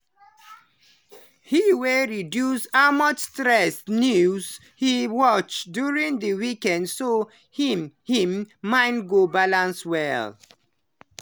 he dey reduce how much stressful news he watch during the week so him him mind go balance well.